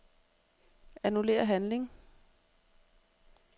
Annullér handling.